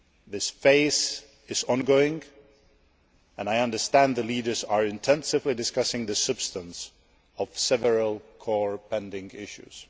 This phase is ongoing and I understand the leaders are intensively discussing the substance of several core pending issues.